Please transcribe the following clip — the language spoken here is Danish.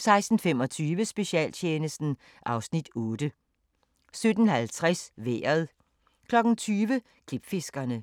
16:25: Specialtjenesten (Afs. 8) 17:50: Vejret 20:00: Klipfiskerne